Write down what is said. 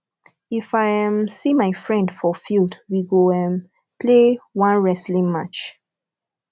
if i um see my friend for field we go um play one wrestling match